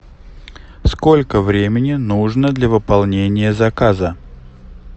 сколько времени нужно для выполнения заказа